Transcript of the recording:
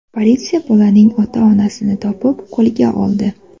Politsiya bolaning ota-onasini topib, qo‘lga oldi.